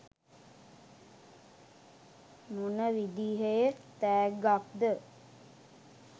මොන විදිහේ තෑග්ගක්ද?